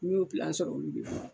N y'u